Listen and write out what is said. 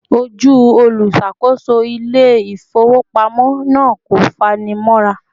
Ojú olùṣàkóso ilé ifowopamọ na kò fani mora